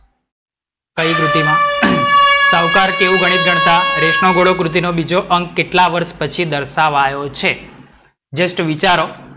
કઈ કૃતિમાં? સાવકાર કેવું ગણિત ગણતાં? રેસ નો ઘોડો બીજો અંક કેટલા વર્ષ પછી દર્શાવાયો છે? જસ્ટ વિચારો.